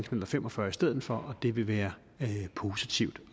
knallert fem og fyrre i stedet for det vil være positivt